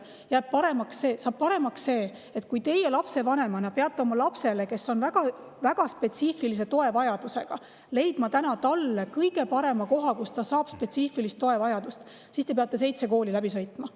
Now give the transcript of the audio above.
Saab paremaks, et kui lapsevanem peab oma lapsele, kes on väga spetsiifilise toe vajadusega, leidma kõige parema koha, kus ta saab spetsiifilist tuge, siis peab seitse kooli läbi sõitma.